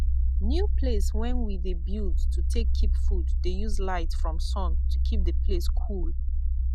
new place wen we de build to take keep food dey use light from sun to keep the place cool